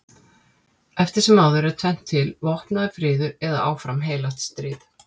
Eftir sem áður er tvennt til: vopnaður friður eða áfram heilagt stríð.